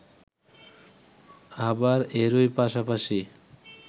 আবার এরই পাশাপাশি